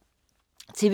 TV 2